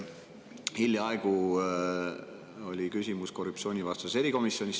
Hiljaaegu oli see küsimus korruptsioonivastases erikomisjonis.